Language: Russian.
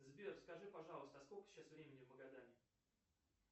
сбер скажи пожалуйста сколько сейчас времени в магадане